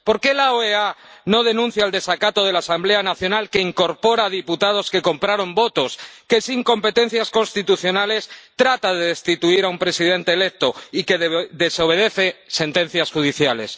¿Por qué la OEA no denuncia el desacato de la Asamblea Nacional, que incorpora a diputados que compraron votos, que sin competencias constitucionales trata de destituir a un presidente electo y que desobedece sentencias judiciales?